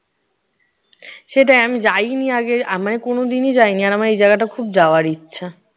সেটাই, আমি যাইইনি আগে, আমি কোনো দিনই যাইনি। আর আমার এই জায়গাটা খুব যাওয়ার ইচ্ছা।